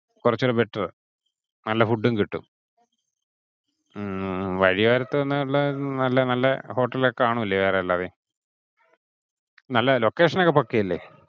കുറച്ചു കൂടി better. നല്ല food ഉം കിട്ടും. വാഴയോരത്തു നിന്നുള്ള നല്ല hotel ഒക്കെ കാണില്ലേ വേറെ അല്ലാതെ. നല്ല location ഒക്കെ പക്കാ അല്ലെ.